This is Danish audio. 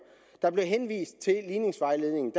der blev henvist til ligningsvejledningen